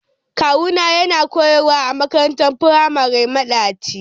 kawuna yana koyarwa a makarantar firamari madaci.